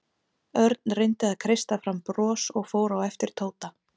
Örn reyndi að kreista fram bros og fór á eftir Tóta.